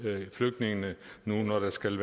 flygtninge nu hvor der skal